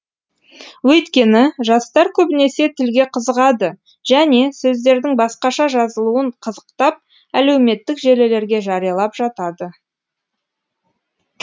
өйткені жастар көбінесе тілге қызығады және сөздердің басқаша жазылуын қызықтап әдеуметтік желілерге жариялап жатады